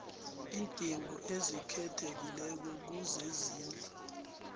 iindingo ezikhethekileko kezezindlu